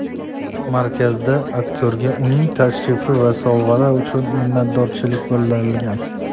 Markazda aktyorga uning tashrifi va sovg‘alari uchun minnatdorchilik bildirilgan.